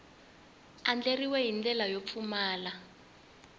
andlariwile hi ndlela yo pfumala